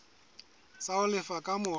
tsa ho lefa ka mora